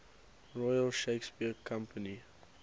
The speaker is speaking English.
royal shakespeare company